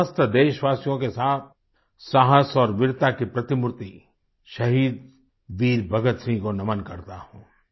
मैं समस्त देशवासियों के साथ साहस और वीरता की प्रतिमूर्ति शहीद वीर भगतसिंह को नमन करता हूँ